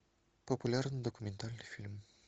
популярный документальный фильм